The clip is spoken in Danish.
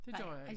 Det gør jeg ikke